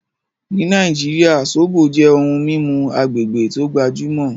Ní Naijíríà, ṣọbọ̀ jẹ́ ohun mimú agbegbé tó gbajumọ